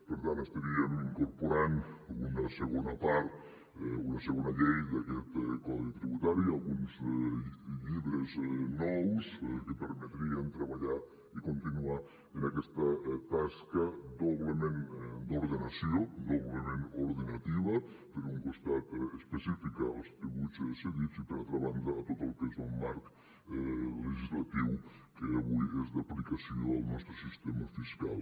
per tant estaríem incorporant una segona part una segona llei d’aquest codi tributari alguns llibres nous que permetrien treballar i continuar en aquesta tasca doblement d’ordenació doblement ordenativa per un costat específica als tributs cedits i per altra banda a tot el que és el marc legislatiu que avui és d’aplicació al nostre sistema fiscal